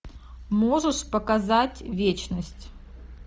можешь показать вечность